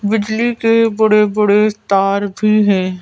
बिजली के बड़े-बड़े तार भी हैं।